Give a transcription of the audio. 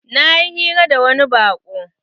Na yi hira da wani baƙo